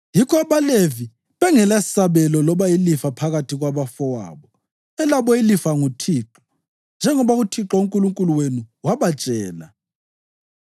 Yikho abaLevi bengelasabelo loba ilifa phakathi kwabafowabo; elabo ilifa nguThixo, njengoba uThixo uNkulunkulu wenu wabatshela.)